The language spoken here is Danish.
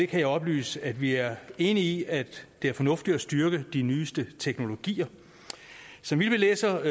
kan jeg oplyse at vi er enige i at det er fornuftigt at styrke de nyeste teknologier så vidt vi læser